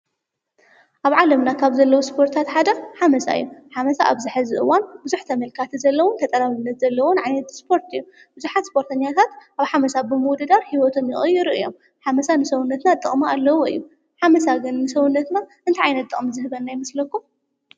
ኣብ ዓለምና ካብ ዘለዉ ስፖርታት ሓደ ሓመሳ እዮ፡፡ ሓመሳ ኣብዚ ሐዚ እዋን ብዙሕ ተመልካቲ ዘለዎን ፈጠራ ዓይነት ዘለዎን ዓይነት ስፖርትአዩ፡፡ ብዙሓት ስፖርተኛታት ኣብ ሓመሳ ብምውድዳሩ ህይወቶም ይቕይሩ እዮም፡፡ ሓመሳ ንሰውነትና ጥቕሚ ኣለዎ እዩ፡፡ ሓመሳ ግን ንሰውነትና እንታይ ዓይነት ጠቕሚ ዝህበና ይምስለኩም?